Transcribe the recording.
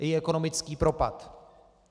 Její ekonomický propad.